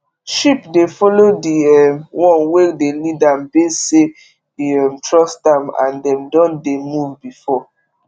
sheep dey follow the um one wey de lead am base say e um trust am and dem don dey move before